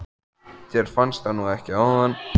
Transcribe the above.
Þér fannst það nú ekki áðan.